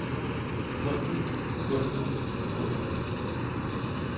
gulvet gulvet gulvet